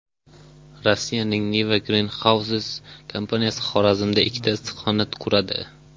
Rossiyaning Niva Greenhouses kompaniyasi Xorazmda ikkita issiqxona quradi.